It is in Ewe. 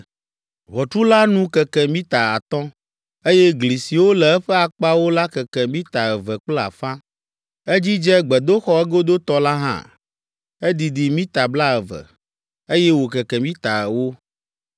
Ʋɔtru la nu keke mita atɔ̃, eye gli siwo le eƒe akpawo la keke mita eve kple afã. Edzidze gbedoxɔ egodotɔ la hã. Edidi mita blaeve, eye wòkeke mita ewo.